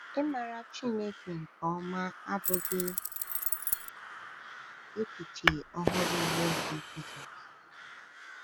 Ịmara Chineke nke ọma abụghị echiche ọhụrụ n’oge Jizọs.